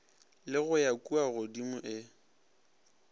le go ya kuagodimo e